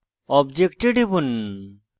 object টিপুন